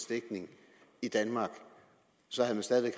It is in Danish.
dækning i danmark så havde man stadig